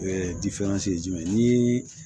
ye jumɛn ye ni